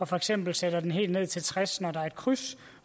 for eksempel sætter den helt ned til tres kmt når der er et kryds